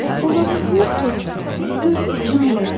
Olanı vur tut dörd tikandır.